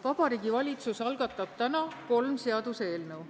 Vabariigi Valitsus algatab täna kolm seaduseelnõu.